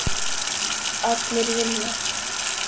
Allir vinna.